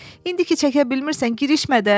İndiki çəkə bilmirsən, girişmə də.